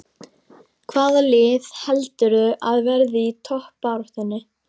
Hvaða lið heldurðu að verði í toppbaráttunni?